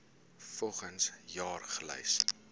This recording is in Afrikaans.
volgens jaar gelys